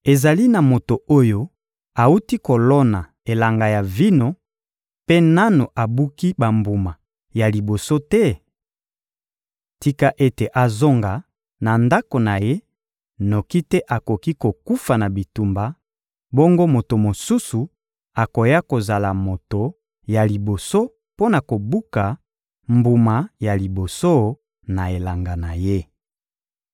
Ezali na moto oyo awuti kolona elanga ya vino mpe nanu abuki bambuma ya liboso te? Tika ete azonga na ndako na ye noki te akoki kokufa na bitumba, bongo moto mosusu akoya kozala moto ya liboso mpo na kobuka mbuma ya liboso na elanga na ye.